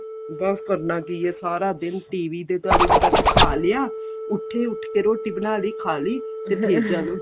ਬੱਸ ਕਰਨਾ ਕੀ ਏ ਸਾਰਾ ਦਿਨ TV ਦੇ ਦੁਆਲੇ ਬੱਸ ਖਾ ਲਿਆ ਉਠੇ ਉਠ ਕੇ ਰੋਟੀ ਬਣਾ ਲਈ ਖਾਲੀ ਤੇ ਫੇਰ ਚਲੋ